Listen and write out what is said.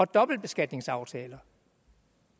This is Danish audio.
dobbeltbeskatningsaftaler